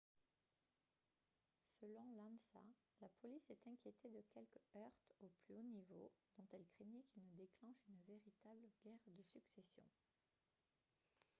selon l'ansa « la police s'est inquiétée de quelques heurts au plus haut niveau dont elle craignait qu'ils ne déclenchent une véritable guerre de succession »